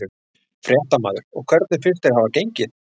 Fréttamaður: Og hvernig finnst þér hafa gengið?